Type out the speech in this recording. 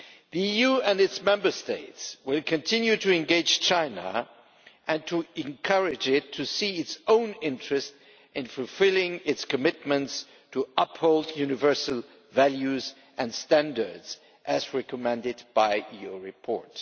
The EU and its Member States will continue to engage China and encourage it to see its own interests in fulfilling its commitments to uphold universal values and standards as recommended by your report.